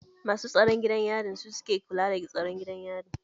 Masu tsaron gidan yarin suke kula da tsaron gidan yarin.